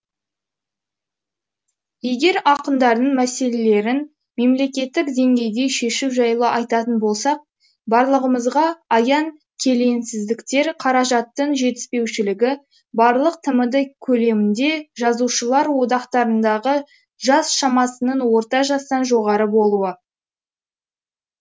егер ақындардың мәселелерін мемлекеттік деңгейде шешу жайлы айтатын болсақ барлығымызға аян келеңсіздіктер қаражаттың жетіспеушілігі барлық тмд көлемінде жазушылар одақтарындағы жас шамасының орта жастан жоғары болуы